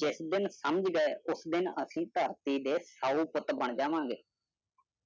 ਜਿਸ ਦਿਨ ਸਮਝ ਗਏ ਉਸ ਦਿਨ ਅਸੀਂ ਧਰਤੀ ਦੇ ਸਾਊ ਪੁੱਤ ਬਣ ਜਾਂਵਾਗੇ।